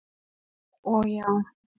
og já.